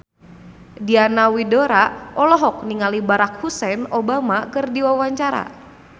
Diana Widoera olohok ningali Barack Hussein Obama keur diwawancara